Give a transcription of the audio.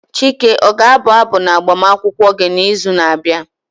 Chike o ga abụ abụ na agbamakwụkwọ gị n'izu na-abịa?